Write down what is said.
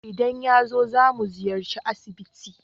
Idan yazo, zamu ziyarci asibiti.